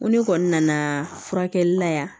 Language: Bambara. Ko ne kɔni nana furakɛli la yan